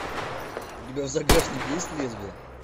у тебя в загашнике есть лезвие